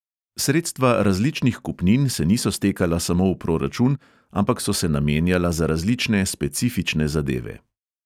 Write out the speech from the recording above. Sredstva različnih kupnin se niso stekala samo v proračun, ampak so se namenjala za različne specifične zadeve.